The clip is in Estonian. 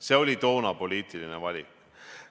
See oli toona poliitiline valik.